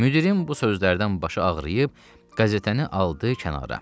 Müdirin bu sözlərdən başı ağrıyıb, qəzetəni aldı kənara.